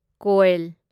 ꯀꯣꯢꯜ